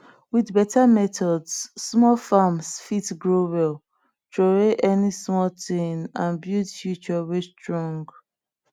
with better methods small farms fit grow well throway ony small things and build future wey strong